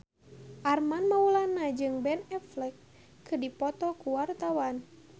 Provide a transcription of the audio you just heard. Armand Maulana jeung Ben Affleck keur dipoto ku wartawan